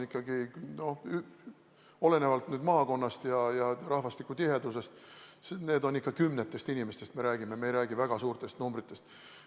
Olenevalt maakonnast ja rahvastiku tihedusest me räägime kümnetest inimestest, me ei räägi väga suurtest numbritest.